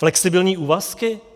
Flexibilní úvazky?